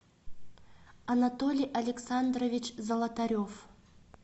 анатолий александрович золотарев